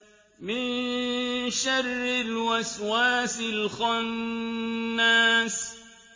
مِن شَرِّ الْوَسْوَاسِ الْخَنَّاسِ